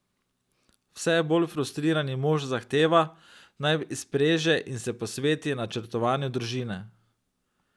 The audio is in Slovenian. Vse bolj frustrirani mož zahteva, naj izpreže in se posveti načrtovanju družine.